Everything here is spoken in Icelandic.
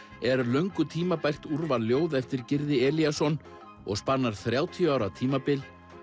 er löngu tímabært úrval ljóða eftir Gyrði Elíasson og spannar þrjátíu ára tímabil